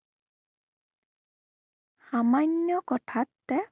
সামান্য় কথাতে